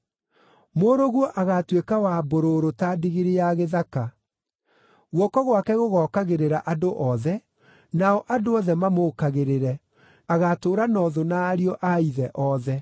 Mũrũguo agaatuĩka wa mbũrũrũ ta ndigiri ya gĩthaka; guoko gwake gũgookagĩrĩra andũ othe, nao andũ othe mamũũkagĩrĩre: agaatũũra na ũthũ na ariũ a ithe othe.”